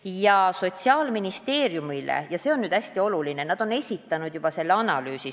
Ja see on nüüd hästi oluline, et Sotsiaalministeeriumile on nad juba esitanud selle analüüsi.